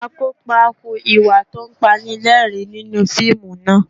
Akópa hu ìwà tó Panilẹ́rìn-ín nínú fíìmù náà